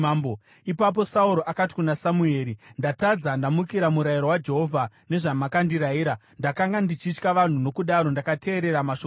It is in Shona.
Ipapo Sauro akati kuna Samueri, “Ndatadza, ndamukira murayiro waJehovha nezvamakandirayira. Ndakanga ndichitya vanhu nokudaro ndakateerera mashoko avo.